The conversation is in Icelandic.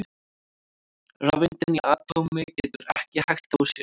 Rafeind inni í atómi getur ekki hægt á sér!